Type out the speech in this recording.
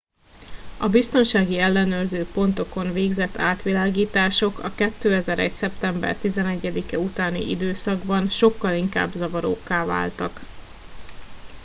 a biztonsági ellenőrző pontokon végzett átvilágítások a 2001. szeptember 11 e utáni időszakban sokkal inkább zavarókká váltak